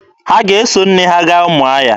Ha ga-eso nne ha gaa Ụmụahịa?